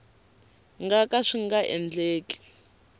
nga ka swi nga endleki